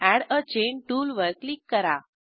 add a chain टूलवर क्लिक करा